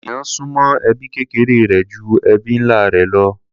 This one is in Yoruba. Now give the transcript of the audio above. Èèyàn súnmọ́ ẹbí kékeré rẹ̀ ju ẹbí ńlá rẹ̀ lọ.